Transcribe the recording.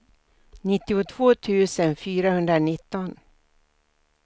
nittiotvå tusen fyrahundranitton